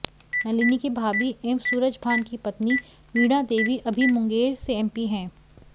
नलिनी की भाभी एवं सूरजभान की पत्नी वीणा देवी अभी मुंगेर से एमपी हैं